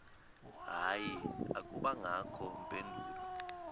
hayi akubangakho mpendulo